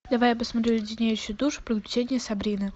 давай я посмотрю леденящие душу приключения сабрины